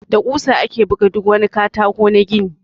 Da ƙusa ake buga duk wani katako na gini.